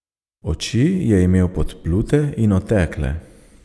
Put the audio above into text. Oči je imel podplute in otekle.